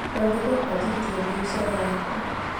Nonyende kwanjĩrĩria biacara yakwa